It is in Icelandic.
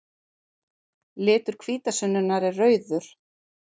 Litur hvítasunnunnar er rauður.